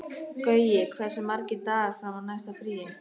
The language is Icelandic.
Gaui, hversu margir dagar fram að næsta fríi?